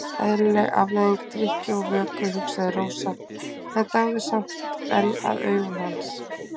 Eðlileg afleiðing drykkju og vöku, hugsaði Rósa en dáðist samt enn að augum hans.